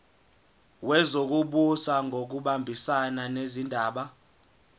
wezokubusa ngokubambisana nezindaba